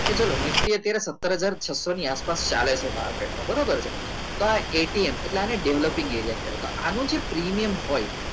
નિષ્ક્રિય સતાર હજાર છસો આસપાસ ચાલે છે બરોબર છે તો આ એટલે આને development કહેવાય તો આનું જે પ્રીમિયમ હોય